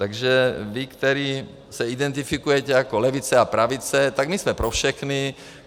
Takže vy, kteří se identifikujete jako levice a pravice, tak my jsme pro všechny.